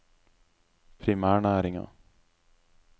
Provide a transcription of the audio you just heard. primærnæringer